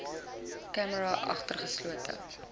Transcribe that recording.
camera agter geslote